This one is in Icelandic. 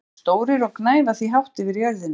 Fílar eru stórir og gnæfa því hátt yfir jörðina.